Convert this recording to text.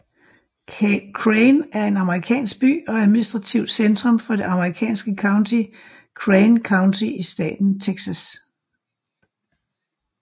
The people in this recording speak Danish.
Crane er en amerikansk by og administrativt centrum for det amerikanske county Crane County i staten Texas